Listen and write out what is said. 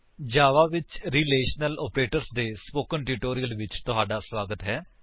ਜਾਵਾ ਵਿੱਚ relational operators ਦੇ spoken tutorial ਵਿੱਚ ਤੁਹਾਡਾ ਸਵਾਗਤ ਹੈ